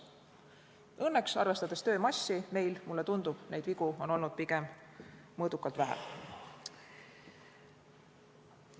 Õnneks, arvestades töö hulka, meil, mulle tundub, on neid vigu olnud pigem mõõdukalt vähe.